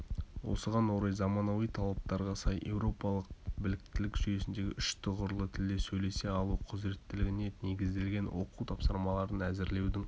осыған орай заманауи талаптарға сай еуропалық біліктілік жүйесіндегі үш тұғырлы тілде сөйлесе алу құзыреттілігіне негізделген оқу тапсырмаларын әзірлеудің